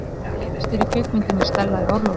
Hver leikstýrði kvikmyndinni Stella í orlofi?